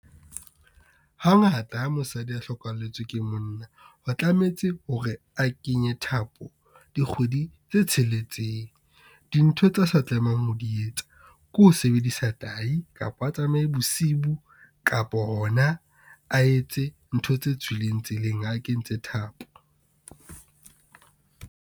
Hangata ha mosadi a hlokahalletsweng ke monna, ho tlametse hore a kenye thapo dikgwedi tse tsheletseng. Dintho tsa sa tlamehang ho di etsa ke ho sebedisa tahi, kapa a tsamaye bosibu, kapo hona a etse ntho tse tswileng tseleng ha kentse thapo.